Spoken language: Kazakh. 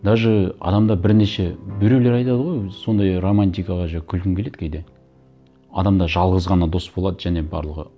даже адамда бірнеше біреулер айтады ғой сондай романтикаға күлкім келеді кейде адамда жалғыз ғана дос болады және барлығы